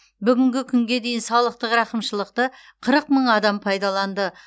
бүгінгі күнге дейін салықтық рақымшылықты қырық мың адам пайдаланды